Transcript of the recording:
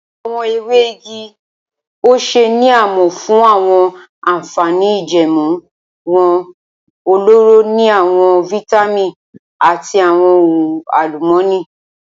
Awọn ewe igi ose ni a mọ fun awọn anfani ijẹẹmu wọn, ọlọrọ ni awọn vitamin ati awọn ohun alumọni.